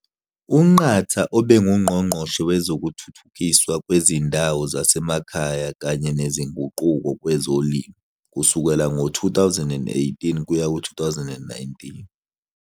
UNqatha ubenguNgqongqoshe Wezokuthuthukiswa Kwezindawo Zasemakhaya kanye Nezinguquko Kwezolimo kusukela ngo-2018 kuya ku-2019.